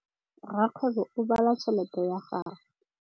Rakgwêbô o bala tšheletê ya gagwe.